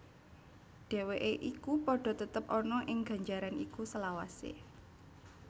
Dheweke iku padha tetep ana ing ganjaran iku selawase